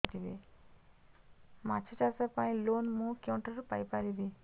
ମାଛ ଚାଷ ପାଇଁ ଲୋନ୍ ମୁଁ କେଉଁଠାରୁ ପାଇପାରିବି